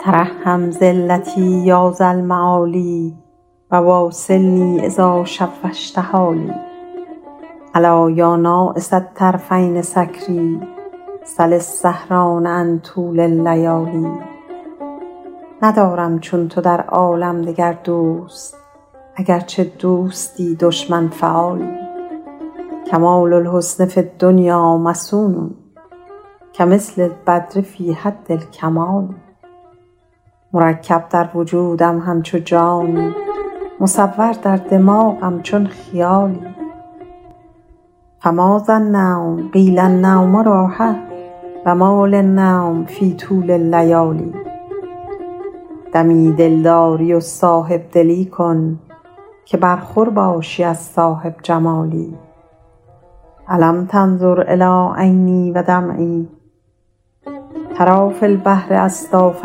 ترحم ذلتی یا ذا المعالی و واصلنی اذا شوشت حالی ألا یا ناعس الطرفین سکریٰ سل السهران عن طول اللیالی ندارم چون تو در عالم دگر دوست اگرچه دوستی دشمن فعالی کمال الحسن فی الدنیا مصون کمثل البدر فی حد الکمال مرکب در وجودم همچو جانی مصور در دماغم چون خیالی فماذا النوم قیل النوم راحه و ما لی النوم فی طول اللیالی دمی دلداری و صاحب دلی کن که برخور بادی از صاحب جمالی ألم تنظر إلی عینی و دمعی تری فی البحر أصداف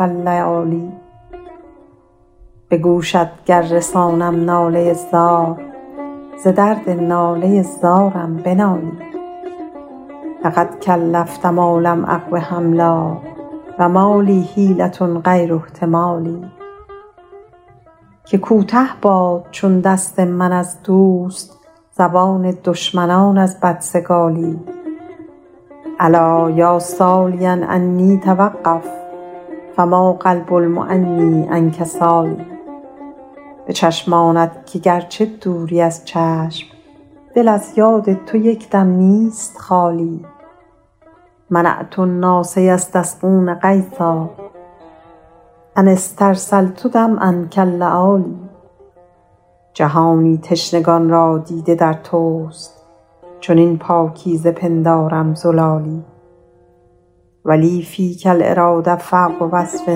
اللآلی به گوشت گر رسانم ناله زار ز درد ناله زارم بنالی لقد کلفت ما لم أقو حملا و ما لی حیلة غیر احتمالی که کوته باد چون دست من از دوست زبان دشمنان از بدسگالی الا یا سالیا عنی توقف فما قلب المعنیٰ عنک سال به چشمانت که گرچه دوری از چشم دل از یاد تو یک دم نیست خالی منعت الناس یستسقون غیثا أن استرسلت دمعا کاللآلی جهانی تشنگان را دیده در توست چنین پاکیزه پندارم زلالی و لی فیک الإراده فوق وصف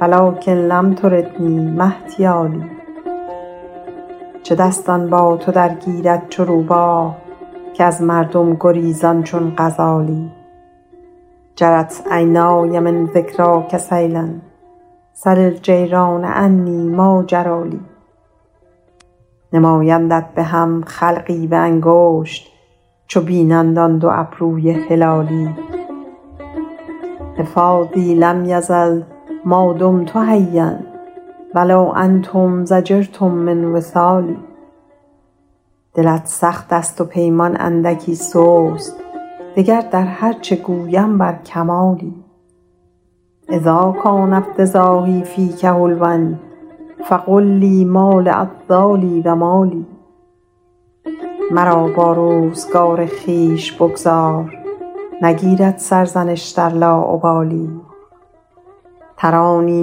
و لکن لم تردنی ما احتیالی چه دستان با تو درگیرد چو روباه که از مردم گریزان چون غزالی جرت عینای من ذکراک سیلا سل الجیران عنی ما جری لی نمایندت به هم خلقی به انگشت چو بینند آن دو ابروی هلالی حفاظی لم یزل ما دمت حیا و لو انتم ضجرتم من وصالی دلت سخت است و پیمان اندکی سست دگر در هر چه گویم بر کمالی اذا کان افتضاحی فیک حلوا فقل لی ما لعذالی و ما لی مرا با روزگار خویش بگذار نگیرد سرزنش در لاابالی ترانی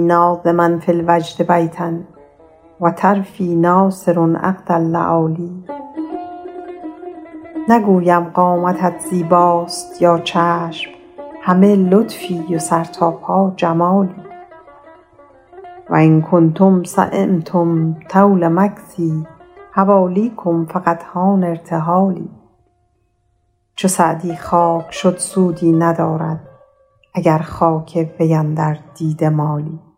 ناظما فی الوجد بیتا و طرفی ناثر عقد اللآلی نگویم قامتت زیباست یا چشم همه لطفی و سرتاسر جمالی و ان کنتم سیمتم طول مکثی حوالیکم فقد حان ارتحالی چو سعدی خاک شد سودی ندارد اگر خاک وی اندر دیده مالی